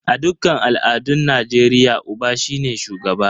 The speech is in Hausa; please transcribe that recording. A dukkan al'adun Najeriya, Uba shine shugaba.